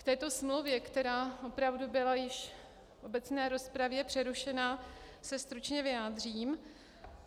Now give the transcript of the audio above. K této smlouvě, která opravdu byla již v obecné rozpravě přerušena, se stručně vyjádřím.